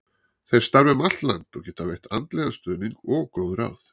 Þeir starfa um allt land og geta veitt andlegan stuðning og góð ráð.